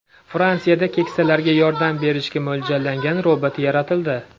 Fransiyada keksalarga yordam berishga mo‘ljallangan robot yaratildi.